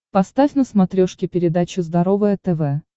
поставь на смотрешке передачу здоровое тв